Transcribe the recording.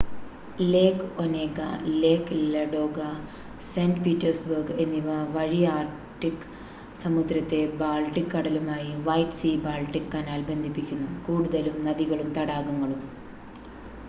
ലേക് Onega lake Ladoga saint Petersburg എന്നിവ വഴി Arctic സമുദ്രത്തെ ബാൾട്ടിക് കടലുമായി വൈറ്റ് സീ-ബാൾട്ടിക് കനാൽ ബന്ധിപ്പിക്കുന്നു കൂടുതലും നദികളും തടാകങ്ങളും